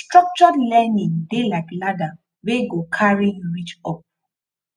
structured learning dey like ladder wey go carry you reach up